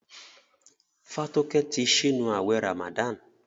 Fatoke tí sínú awé ramadan.